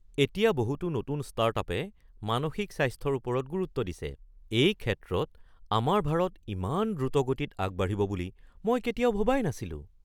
এতিয়া বহুতো নতুন ষ্টাৰ্টআপে মানসিক স্বাস্থ্যৰ ওপৰত গুৰুত্ব দিছে! এই ক্ষেত্ৰত আমাৰ ভাৰত ইমান দ্ৰুতগতিত আগবাঢ়িব বুলি মই কেতিয়াও ভবাই নাছিলো।